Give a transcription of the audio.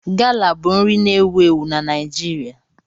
Gala bụ nri na-ewu ewu na Naịjirịa.